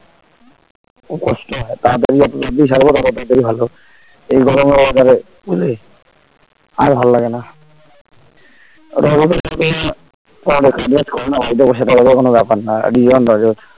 খুব কষ্ট হয় তাড়াতাড়ি যত তাড়াতাড়ি ছাড়বো তত তাড়াতাড়ি ভালো এই গরমে একবারে বুঝলি আর ভাল লাগেনা ওটা হবে তোর কাজ বাজ করেনা বাড়িতে বসে থাকা ওদের কোনো ব্যাপার না .